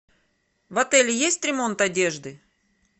в отеле есть ремонт одежды